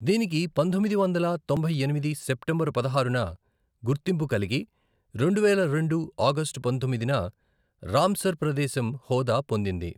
దీనికి పంతొమ్మిది వందల తొంభై ఎనిమిది సెప్టెంబరు పదహారున గుర్తింపు కలిగి రెండువేల రెండు ఆగస్టు పంతొమ్మిదిన రాంసర్ ప్రదేశం హోదా పొందింది.